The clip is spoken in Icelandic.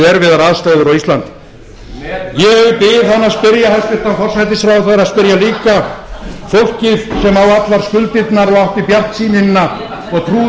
erfiðar aðstæður á íslandi ég bið hæstvirtan forsætisráðherra að spyrja líka fólkið sem á allar skuldirnar og átti bjartsýnina og trúði